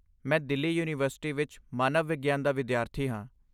ਮੈਂ ਦਿੱਲੀ ਯੂਨੀਵਰਸਿਟੀ ਵਿੱਚ ਮਾਨਵ ਵਿਗਿਆਨ ਦਾ ਵਿਦਿਆਰਥੀ ਹਾਂ।